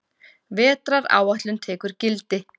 Vetraráætlun tekur gildi